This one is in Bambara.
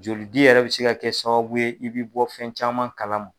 Jolidi yɛrɛ bɛ se ka kɛ sababu ye i bɛ bɔ fɛn caman kalan ma.